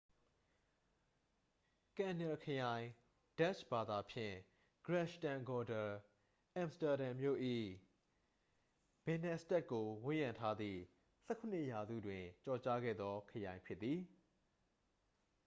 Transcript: """ကန်နယ်လ် ခရိုင် ဒတ်ချ်ဘာသာဖြင့် - grachtengordel အမ်စတာဒန်မြို့၏ ဘင်နင်စတတ်ဒ်ကို ဝန်းရံထားသည့် ၁၇ ရာစုတွင် ကျော်ကြားခဲ့သော ခရိုင်ဖြစ်သည်။""